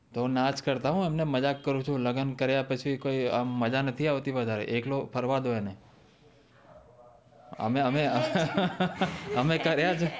જો ના જ કરતા હો એમને ને મજાક કરું છું લગન કરીયા પછી કોઈ મજા નથી આવતી વધારે એકલો ફરવા દો અને અમે અમે અમે કરિયા છે